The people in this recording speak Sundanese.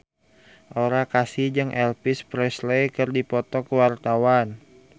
Aura Kasih jeung Elvis Presley keur dipoto ku wartawan